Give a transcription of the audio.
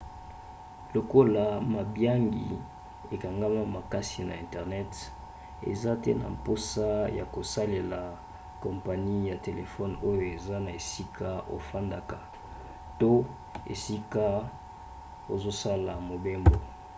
lokola mabiangi ekangama makasi na internet oza te na mposa ya kosalela kompani ya telefone oyo eza na esika ofandaka to esika ozosala mobembo